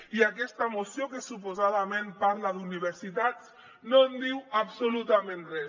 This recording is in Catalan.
i aquesta moció que suposadament parla d’universitats no en diu absolutament res